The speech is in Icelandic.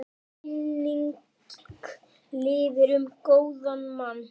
Minning lifir um góðan mann.